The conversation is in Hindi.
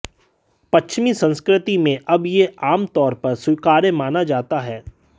पश्चिमी संस्कृति में अब यह आम तौर पर स्वीकार्य माना जाता है